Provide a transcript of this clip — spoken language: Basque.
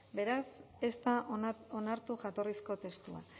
beraz ez da onartu jatorrizko testua